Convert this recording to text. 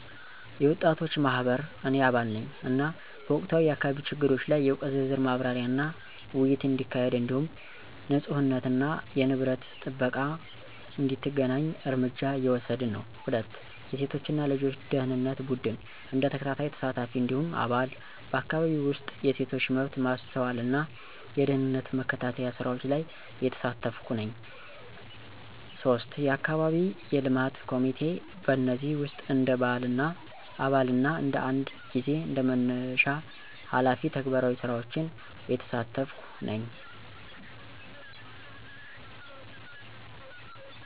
የወጣቶች ማህበር – እኔ አባል ነኝ፣ እና በወቅታዊ የአካባቢ ችግሮች ላይ የእውቀት ዝርዝር ማብራሪያና ውይይት እንዲካሄድ እንዲሁም ንፁህነትና የንብረት ጥበቃ እንዲተገናኝ እርምጃ እየወሰድን ነን። 2. የሴቶች እና ልጆች ደኅንነት ቡድን – እንደ ተከታታይ ተሳታፊ እንዲሁም አባል፣ በአካባቢው ውስጥ የሴቶች መብት ማስተዋልና የደህንነት መከታተያ ስራዎች ላይ እየተሳተፍኩ ነኝ። 3. የአካባቢ የልማት ኮሚቴ – በእነዚህ ውስጥ እንደ አባል እና አንዳንድ ጊዜ እንደ መነሻ ሃላፊ ተግባራዊ ስራዎችን እየተሳተፍኩ ነኝ።